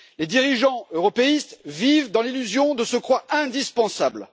Les dirigeants européistes vivent dans l'illusion de se croire indispensables.